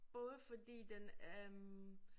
Både fordi den øh